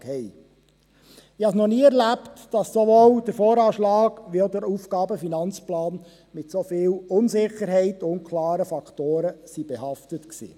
Ich habe es noch nie erlebt, dass sowohl der VA als auch der AFP mit so vielen Unsicherheiten und unklaren Faktoren behaftet sind.